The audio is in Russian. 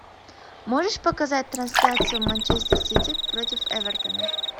можешь показать трансляцию манчестер сити против эвертона